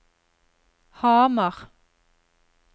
Hamar